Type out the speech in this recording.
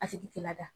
A tigi tɛ lada